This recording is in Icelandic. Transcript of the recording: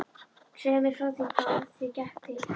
Segðu mér þá frá því hvað þér gekk til.